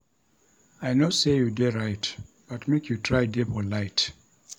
I know sey you dey right but make you try dey polite.